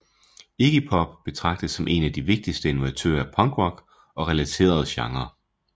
Iggy Pop betragtes som én af de vigtigste innovatører af punkrock og relaterede genrer